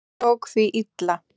Hún tók því illa.